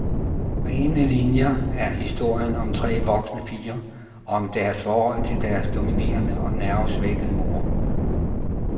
Rene linier er historien om tre voksne piger og om deres forhold til deres dominerende og nervesvækkede mor.